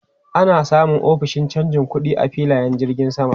Ana samun ofishin canja kuɗi a filayen jirgin sama.